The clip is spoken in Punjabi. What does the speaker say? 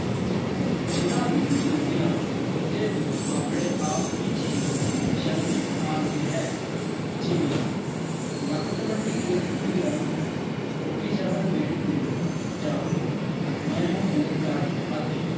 ਜਿਨ੍ਹਾਂਨੂੰ ਸੁਣਦਿਆਂ ਬੰਦੇ ਨੂੰ ਆਪਣੇ ਆਪ ਵਿਚ ਹੀ ਸ਼ਰਮ ਆਂਦੀ ਹੈ ਜਿਵੇ ਲੱਕ twenty eight ਕੁੜੀ ਦਾ forty seven wait ਕੁੜੀ ਦਾ ਜਾ ਮੈਂ ਹੂ ਬਲਾਤਕਾਰੀ ਆਦਿ